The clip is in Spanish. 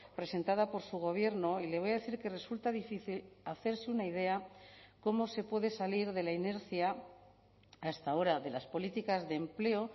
presentada por su gobierno y le voy a decir que resulta difícil hacerse una idea cómo se puede salir de la inercia hasta ahora de las políticas de empleo